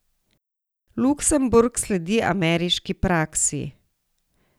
Luksemburg sledi ameriški praksi.